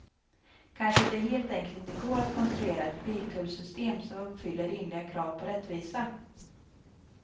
Kanske att det helt enkelt inte går att konstruera ett biltullsystem som uppfyller rimliga krav på rättvisa.